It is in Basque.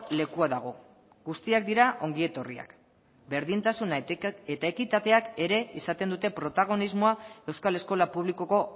lekua dago guztiak dira ongi etorriak berdintasuna eta ekitateak ere izaten dute protagonismoa euskal eskola publikoko